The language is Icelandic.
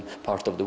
fá svolítið